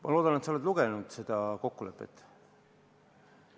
Ma loodan, et sa oled seda kokkulepet lugenud.